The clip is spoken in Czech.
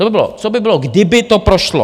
To by bylo, co by bylo, kdyby to prošlo.